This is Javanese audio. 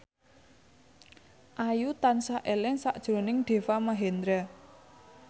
Ayu tansah eling sakjroning Deva Mahendra